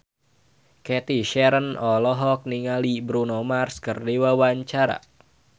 Cathy Sharon olohok ningali Bruno Mars keur diwawancara